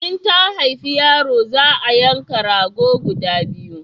In ta haifa yaro za a yanka rago guda biyu